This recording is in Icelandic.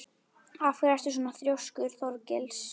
Af hverju ertu svona þrjóskur, Þorgils?